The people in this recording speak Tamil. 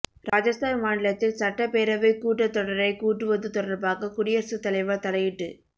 ராஜஸ்தான் மாநிலத்தில் சட்டப்பேரவைக் கூட்டத்தொடரைக் கூட்டுவது தொடா்பாக குடியரசுத் தலைவா் தலையிட்டு